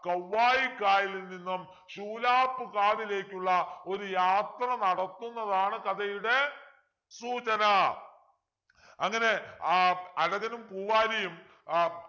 കവ്വായി കായലിൽ നിന്നും ശൂലാപ്പ് കാദിലേക്കുള്ള ഒരു യാത്ര നടത്തുന്നതാണ് കഥയുടെ സൂചനാ അങ്ങനെ ആഹ് അഴകനും പൂവാലിയും ആഹ്